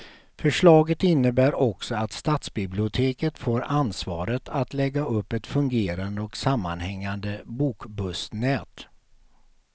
Förslaget innebär också att stadsbiblioteket får ansvaret att lägga upp ett fungerande och sammanhängande bokbussnät.